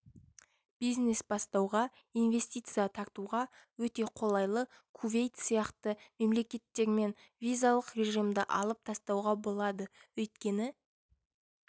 бизнес бастауға инвестиция тартуға өте қолайлы кувейт сияқты мемлекттермен визалық режимді алып тастауға болады өйткені